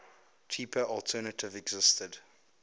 cheaper alternative existed